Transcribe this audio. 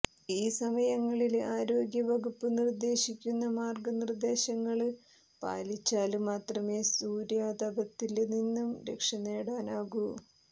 ഈ സമയങ്ങളില് ആരോഗ്യ വകുപ്പ് നിര്ദ്ദേശിക്കുന്ന മാര്ഗ നിര്ദ്ദേശങ്ങള് പാലിച്ചാല് മാത്രമെ സൂര്യാതപത്തില് നിന്ന് രക്ഷനേടാനാകൂ